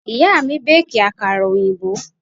Ìyá mi béèkì àkàrà òyìnbó.